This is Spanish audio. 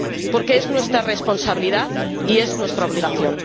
porque es nuestra responsabilidad y es nuestra obligación.